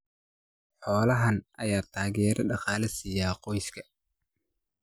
Xoolaha nool ayaa taageero dhaqaale siiya qoysaska.